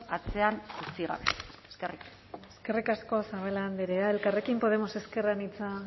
atzean utzi gabe eskerrik asko eskerrik asko zabala andrea elkarrekin podemos ezker anitza